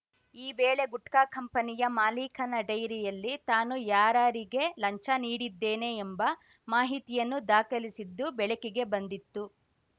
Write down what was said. ಈ ವೇಳೆ ಗುಟ್ಕಾ ಕಂಪನಿಯ ಮಾಲೀಕನ ಡೈರಿಯಲ್ಲಿ ತಾನು ಯಾರಾರಿಗೆ ಲಂಚ ನೀಡಿದ್ದೇನೆ ಎಂಬ ಮಾಹಿತಿಯನ್ನು ದಾಖಲಿಸಿದ್ದು ಬೆಳಕಿಗೆ ಬಂದಿತ್ತು